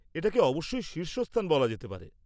-এটাকে অবশ্যই শীর্ষস্থান বলা যেতে পারে।